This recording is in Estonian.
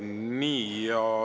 Nii.